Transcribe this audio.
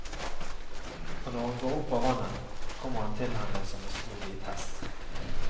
Og når hun går opp av vannet, kommer han til henne som en stor hvit hest.